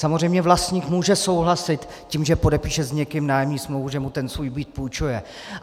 Samozřejmě vlastník může souhlasit tím, že podepíše s někým nájemní smlouvu, že mu ten svůj byt půjčuje.